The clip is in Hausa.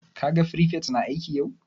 Ka gan firifet na aiki yau?